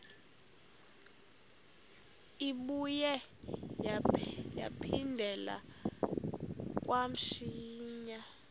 ibuye yaphindela kamsinya